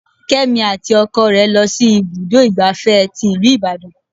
Kémi àti ọkọ rẹ lọ sí ibùdó igbàfẹ́ tí ìlú Ìbàdàn.